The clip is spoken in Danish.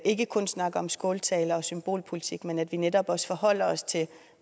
ikke kun snakker om skåltaler og symbolpolitik men at vi netop også forholder os til